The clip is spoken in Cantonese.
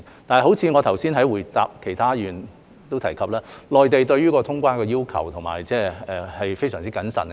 但是，正如我剛才回答其他議員時也提及，內地對於通關的要求是非常謹慎的。